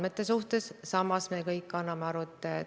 Mis turismi puutub, siis Bocuse d'Ori korraldamine toimub EAS-i kaudu.